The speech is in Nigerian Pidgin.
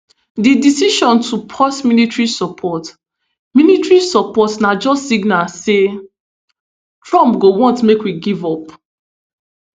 di decision to pause military support military support na just signal say trump go want make we give up